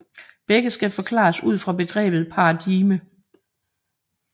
Begge skal forklares ud fra begrebet paradigme